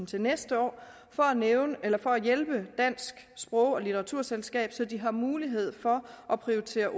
til næste år for at hjælpe dansk sprog og litteraturselskab så de har mulighed for at prioritere